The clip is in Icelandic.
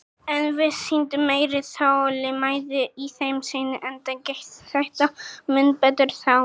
En við sýndum meiri þolinmæði í þeim seinni, enda gekk þetta mun betur þá.